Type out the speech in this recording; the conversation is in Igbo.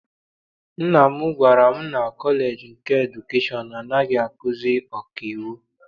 Nna m gwara m na kọleji nke edukeshọn anaghị akuzi ọkaiwu.